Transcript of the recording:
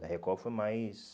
Da Record foi mais...